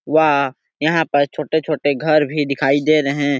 वह यहाँ पर छोटे-छोटे घर भी दिखाई दे रहे है।